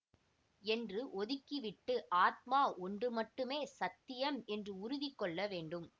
என்று ஒதுக்கிவிட்டு ஆத்மா ஒன்று மட்டுமே சத்தியம் என்று உறுதி கொள்ள வேண்டும்